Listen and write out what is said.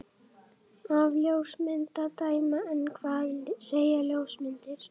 Af ljósmynd að dæma. en hvað segja ljósmyndir?